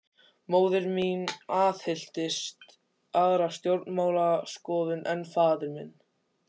Móðir mín aðhylltist aðra stjórnmálaskoðun en faðir minn.